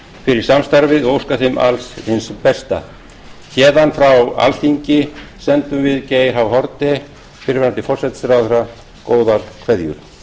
fyrir samstarfið og óska þeim alls hins besta héðan frá alþingi sendum við geir h haarde fyrrverandi forsætisráðherra góðar kveðjur